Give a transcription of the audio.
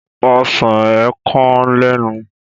Ọsán ė kan lẹ́nu.